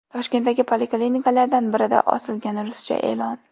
Toshkentdagi poliklinikalardan birida osilgan ruscha e’lon.